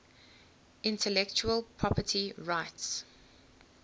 intellectual property rights